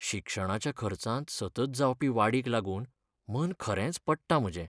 शिक्षणाच्या खर्चांत सतत जावपी वाडीक लागून मन खरेंच पडटा म्हजें.